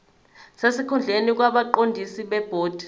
sesikhundleni kwabaqondisi bebhodi